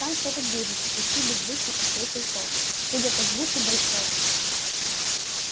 там что-то движется почти беззвучно ответил тот судя по звуку большое